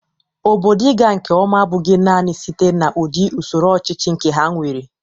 Obodo ị ga nke ọma abụghị nanị site n'udị usoro ọchịchị nke ha nwere.